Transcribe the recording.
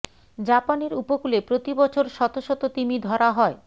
জাপানের উপকূলে প্রতি বছর শত শত তিমি ধরা হয়